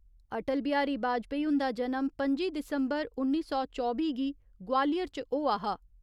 अटल बिहारी बाजपाई हुन्दा जनम पं'जी दिसंबर उन्नी सौ चौबी गी ग्वालियर च होआ हा।